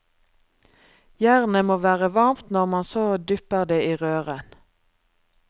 Jernet må være varmt når man så dypper det i røren.